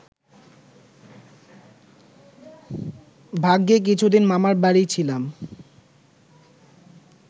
ভাগ্যে কিছুদিন মামার বাড়ি ছিলাম